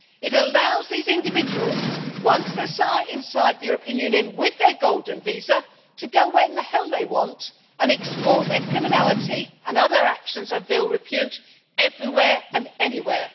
It allows these individuals, once they are inside the European Union with their golden visa, to go where the hell they want and export their criminality and other actions of ill repute everywhere and anywhere.